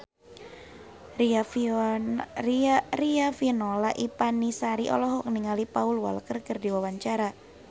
Riafinola Ifani Sari olohok ningali Paul Walker keur diwawancara